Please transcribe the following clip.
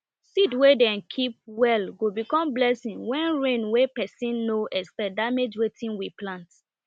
seed wey dem keep well go become blessing wen rain wen pesin nor expect damage wetin we plant